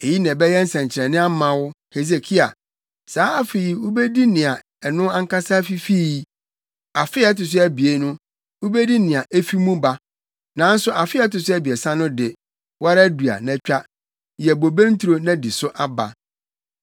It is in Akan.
“Eyi na ɛbɛyɛ nsɛnkyerɛnne ama wo, Hesekia: “Saa afe yi wubedi nea ɛno ankasa fifii. Afe a ɛto so abien no, wubedi nea efi mu ba. Nanso afe a ɛto so abiɛsa no de, wo ara dua na twa, yɛ bobe nturo na di so aba.